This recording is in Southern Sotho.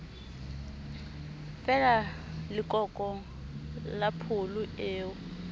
fala lekoko la pholo eo